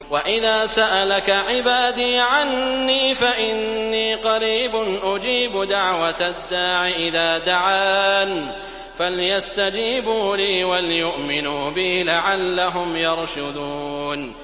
وَإِذَا سَأَلَكَ عِبَادِي عَنِّي فَإِنِّي قَرِيبٌ ۖ أُجِيبُ دَعْوَةَ الدَّاعِ إِذَا دَعَانِ ۖ فَلْيَسْتَجِيبُوا لِي وَلْيُؤْمِنُوا بِي لَعَلَّهُمْ يَرْشُدُونَ